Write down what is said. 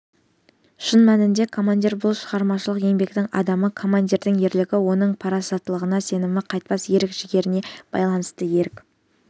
шын мәнінде командир бұл шығармашылық еңбектің адамы командирдің ерлігі оның парасаттылығына сенімді қайтпас ерік-жігеріне байланысты ерік